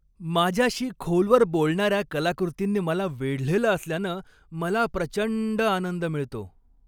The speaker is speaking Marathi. माझ्याशी खोलवर बोलणार्या कलाकृतींनी मला वेढलेलं असल्यानं मला प्रचंड आनंद मिळतो.